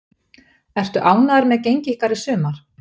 Ertu ánægður með gengi ykkar í sumar?